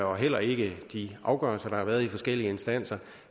og heller ikke de afgørelser der har været i de forskellige instanser